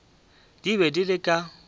di be di le ka